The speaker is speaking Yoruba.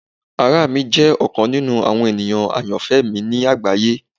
Ara mi jẹ ọkan ninu awọn eniyan ayanfẹ mi ni agbaye.